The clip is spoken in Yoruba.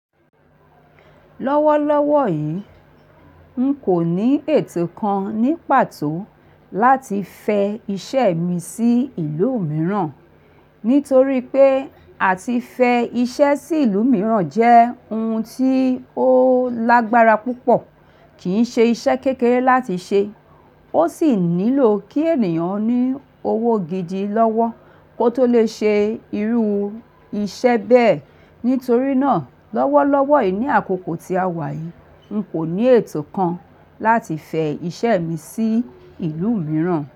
Lọ́wọ́lọ́wọ́ yìí, n kò ní ètò kan ní pàtó láti fẹ iṣẹ́ mi sí ìlú mìíràn. Nítorí pé à ti fẹ iṣẹ́ sí ìlú mìíràn jẹ́ ohun tí ó lágbára púpọ̀, kì í ṣe iṣẹ́ kékeré láti ṣe. Ó sì nílò kí ènìyàn ní owó gidi lọ́wọ́ ko tó lè ṣe irú iṣẹ́ bẹ́ẹ̀. Nítorí náà, lọ́wọ́lọ́wọ́ yìí ní àkókò tí a wà yìí, n kò ní ètò kan láti fẹ iṣẹ́ mi sí ìlú mìíràn.